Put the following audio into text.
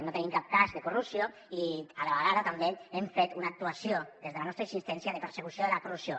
no tenim cap cas de corrupció i a la vegada també hem fet una actuació des de la nostra insistència de persecució de la corrupció